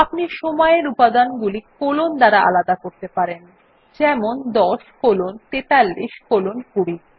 আপনি সময় এর উপাদানগুলি কোলন দ্বারা আলাদা করতে পারেন যেমন ১০ কোলন ৪৩ কোলন ২০